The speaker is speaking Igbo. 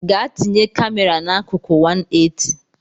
Gaa tinye kamera n’akụkụ 180